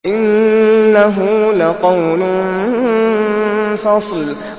إِنَّهُ لَقَوْلٌ فَصْلٌ